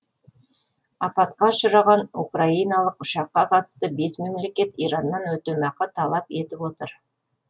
апатқа ұшыраған украиналық ұшаққа қатысты бес мемлекет ираннан өтемақы талап етіп отыр